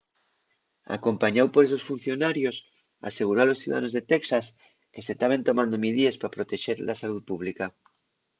acompañáu por esos funcionarios aseguró a los ciudadanos de texas que se taben tomando midíes pa protexer la salú pública